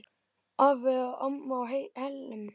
Afi og amma á Hellum.